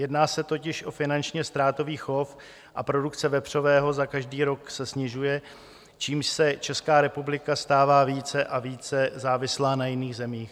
Jedná se totiž o finančně ztrátový chov a produkce vepřového za každý rok se snižuje, čímž se Česká republika stává více a více závislou na jiných zemích.